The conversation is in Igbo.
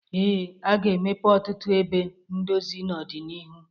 Ee, a ga-emepe ọtụtụ ebe ndozi n'ọdịnihu.